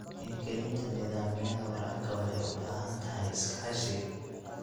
Hirgelinta nidaamyada waraabka waxay u baahan tahay iskaashi.